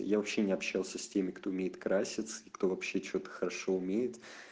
я вообще не общался с теми кто умеет краситься и кто вообще что-то хорошо умеет